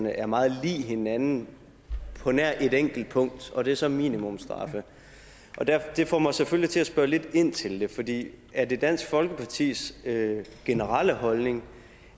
er meget lig hinanden på nær et enkelt punkt og det er så minimumsstraffe det får mig selvfølgelig til at spørge lidt ind til det fordi er det dansk folkepartis generelle holdning